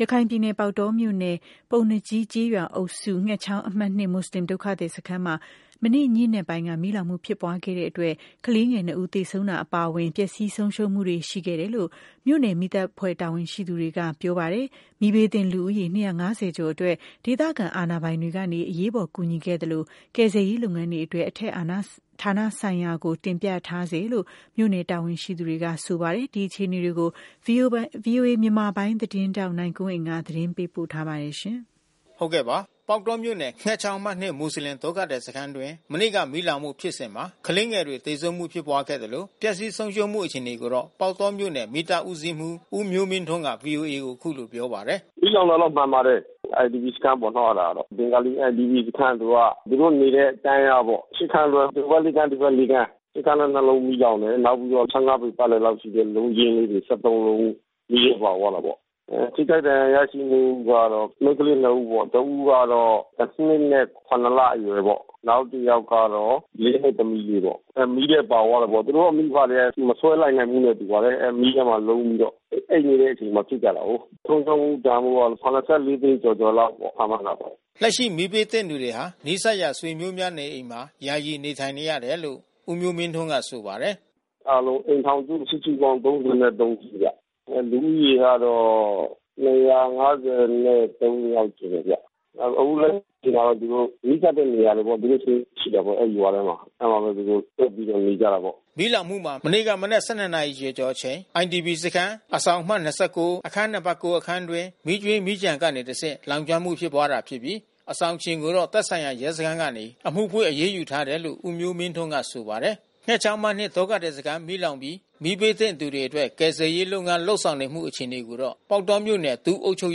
ရခိုင်ပြည်နယ် ၊ ပေါက်တောမြို့နယ်၊ ပုဏ္ဏားကြီးကျေးရွာအုပ်စု၊ ငှက်ချောင်းအမှတ် မွတ်ဆလင်ဒုက္ခသည်စခန်းမှာ မနေ့ ညဉ့်နက်ပိုင်းက မီးလောင်မှုဖြစ်ပွားခဲ့တာကြောင့် ကလေးငယ် ၂ ဦး သေဆုံးတာအပါအဝင် ပျက်စီးဆုံးရှုံးမှုတွေ ရှိခဲ့တယ်လို့ မြို့နယ်မီးသတ် အဖွဲ့တာဝန်ရှိသူတွေက ပြောပါတယ်။ မီးဘေးသင့်လူဦးရေ ကျော်အတွက် ဒေသခံ အာဏာပိုင်တွေကနေ အရေးပေါ် ကူညီခဲ့သလို ကယ်ဆယ်ရေးလုပ်ငန်းအတွက် အထက်ဌာနဆိုင်ရာကို တင်ပြထားဆဲလို့ မြို့နယ်တာဝန်ရှိသူတွေက ဆိုပါတယ်။ ဒီအခြေအနေကို ဗွီအိုအေမြန်မာပိုင်းသတင်းထောက်နိုင်ကွန်းအိန်ကနေ သတင်းပေးပို့ထားပါတယ်။ ပေါက်တောမြို့နယ်၊ ငှက်ချောင်းအမှတ် မွတ်ဆလင်ဒုက္ခသည်စခန်းအတွင်း မနေ့က မီးလောင်မှုဖြစ်စဉ်မှာ ကလေးငယ် တွေသေဆုံးမှုဖြစ်ပွားခဲ့သလို ပျက်စီးဆုံးရှုံးမှု အခြေအနေကိုတော့ ပေါက်တောမြို့နယ် မီးသတ်ဦးစီးမှူး ဦးမျိုးမင်းထွန်းက ဗွီအိုအေကို အခုလိုပြောပါတယ်။ “မီးလောင်တာတော့မှန်ပါတယ်။ IDP စခန်း ပေါ့နော်အဲတာ။ ဘင်္ဂါလီလူနေစခန်း သူက။ သူတို့နေတဲ့ တန်းလျားပေါ့။ ခန်း တွဲ ဟိုဖက် ခန်း ဒီဖက် ခန်း။ အဲဒီအခန်း လုံးမီးလောင်တယ်။ နောက်ပြီးတော့ ပေပတ်လည် လောက်ရှိတဲ့ လုံးချင်းလေးတွေ လုံး မီးထဲပါသွားတာပေါ့။ ထိခိုက်ဒဏ်ရာရရှိမူကတော့ မိန်းကလေးနှစ်ဦးပေါ့။ တဦးကတော တနှစ် နဲ့ လအရွယ်ပေါ့။ နောက်တယောက် ကတော့ နှစ်သမီးလေးပေါ့။ မီးထဲပါသွားတာပေါ့။ သူတို့မိဘတွေကလဲ မဆွဲ လိုက်နိုင်ဘူးနဲ့တူပါတယ်။ အဲမီးထဲမှာ လုံးပြီးတော့။ အိပ်နေတဲ့အချိန်မှာ ဖြစ်ကြတာကိုး။ ဆုံးရှုံးမှုတန်ဖိုးက သိန်း ကျော် ကျော်လောက်ပေါ့။ ခန့်မှန်းတာပေါ့။” လက်ရှိ မီးဘေးသင့်သူတွေဟာ နီးစပ်ရာ ဆွေမျိုးများနေအိမ်တွေမှာ ယာယီနေထိုင်နေရ တယ်လို့ ဦးမျိုးမင်းထွန်း ကဆိုပါတယ်။ “အားလုံးအိမ်ထောင်စု စုစုပေါင်း စုဗျ။ လူဦးရေက ယောက်ရှိတယ်ဗျ။ အခုလက်ရှိမှာတော့သူတို့ နီးစပ်တဲ့ နေရာတွေပေါ့။ သူတို့ဆွေမျိုးရှိတယ်ပေါ့အဲဒီရွာထဲမှာ။ အဲဒီမှာဘဲသူတို့စုပြီးတော့နေကြတာပေါ့။” မီးလောင်မှုမှာ မနေ့က မနက် ရီကျော်ကျော်အချိန် IDP စခန်း အဆောင်အမှတ် ၊ အခန်း နံပါတ် အခန်း အတွင်း မီးကြွင်းမီးကျန်ကနေတဆင့် စတင် လောင်ကျွမ်းမှု ဖြစ်ပွားတာဖြစ်ပြီး အဆောင်ရှင်ကိုတော့ သက်ဆိုင်ရာ ရဲစခန်းကနေ အမှုဖွင့် အရေးယူထားတယ်လို့ ဦးမျိုးမင်းထွန်းက ဆိုပါတယ်။ ငှက်ချောင်းအမှတ် ဒုက္ခသည်စခန်းမီးလောင်ပြီး မီးဘေးသင့်သူတွေအတွက် ကယ်ဆယ်ရေးလုပ်ငန်း လုပ်ဆောင် နေတဲ့အခြေအနေကိုတော့ ပေါက်တောမြို့နယ် ဒုအုပ်ချုပ်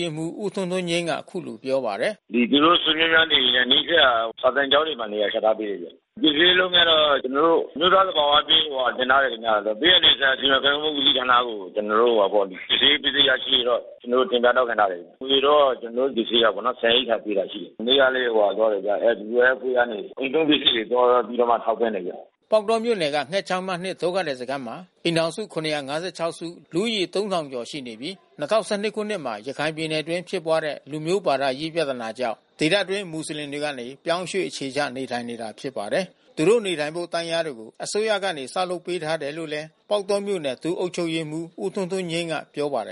ရေးမှူး ဦးထွန်းထွန်းငြိမ်းက အခုလိုပြောပါတယ်။ “သူတို့ဆွေမျိုးများနေအိမ်နဲ့ နီးစပ်ရာ စာသင်ကျောင်းတွေမှာ နေရာချထားပေးတယ်ဗျ။ ကယ်ဆယ်ရေး လုပ်ငန်းကတော့ ကျွန်တော်တို့ အမျိုးသား သဘာဝဘေးကိုတင်ထားတယ်ခင်ဗျ။ ဘေးအန္တရာယ်ဆိုင်ရာ စီမံခန့်ခွဲမှု ဦးစီးဌာနကို ကျွန်တော် တို့ ကယ်ဆယ်ရေးပစ္စည်းရရှိရေးတော့ ကျွန်တော်တို့ တင်ပြ တောင်းခံ ထားတယ်။ အကူညီတော့ ကျွန်တော်တို့ ကယ် ဆယ်ရေးကပေါ့နော် ဆန်ရိက္ခာပေးတာရှိတယ်။ မနေ့ကလဲ ဟိုဟာသွားတယ်ဗျ။ WFP ကနေ အိမ်သုံးပစ္စည်းတွေ သွားပြီးတော့ထောက်ပံ့တယ်ဗျ။” ပေါက်တောမြို့နယ်က ငှက်ချောင်းအမှတ် ဒုက္ခသည်စခန်းမှာ အိမ်ထောင်စု စု၊ လူဦးရေ ကျော် ရှိနေပြီး ၂၀၁၂ခုနှစ်မှာ ရခိုင်ပြည်နယ်အတွင်း ဖြစ်ပွားတဲ့ လူမျိုးဘာသာရေး ပြဿနာကြောင့် ဒေသအတွင်း မွတ်ဆလင် ပြောင်းရွှေ့ အခြေချ နေထိုင်နေတာဖြစ်ပါတယ်။ သူတို့နေထိုင်ဖို့ တန်းလျားတွေကို အစိုးရကနေ ဆောက်လုပ်ပေးထားတယ်လို့လဲ ပေါက်တောမြို့နယ် ဒုအုပ်ချုပ်ရေးမှူး ဦးထွန်းထွန်းငြိမ်းက ပြောပါတယ်